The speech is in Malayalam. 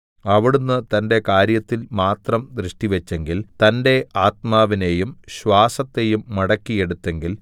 അവിടുന്ന് തന്റെ കാര്യത്തിൽ മാത്രം ദൃഷ്ടിവച്ചെങ്കിൽ തന്റെ ആത്മാവിനെയും ശ്വാസത്തെയും മടക്കി എടുത്തെങ്കിൽ